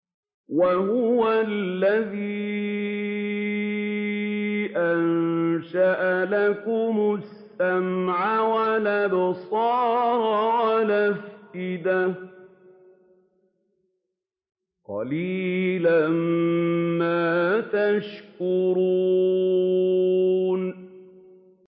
وَهُوَ الَّذِي أَنشَأَ لَكُمُ السَّمْعَ وَالْأَبْصَارَ وَالْأَفْئِدَةَ ۚ قَلِيلًا مَّا تَشْكُرُونَ